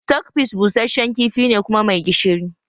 Stockfish busasshen kifi ne kuma mai gishiri